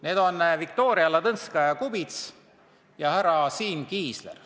Need on Viktoria Ladõnskaja-Kubits ja härra Siim Kiisler.